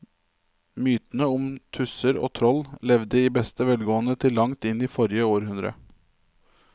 Mytene om tusser og troll levde i beste velgående til langt inn i forrige århundre.